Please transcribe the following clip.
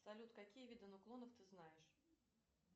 салют какие виды нуклонов ты знаешь